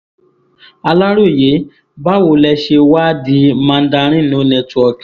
aláròye báwo lẹ ṣe wàá di mandarin no network